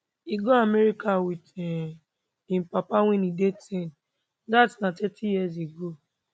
e go america wit um im papa wen e dey ten dat na thirty years ago